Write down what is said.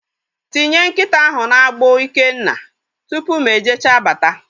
Tinye nkịta ahụ na-agbụ Ikenna! Tupu mụ e jecha bata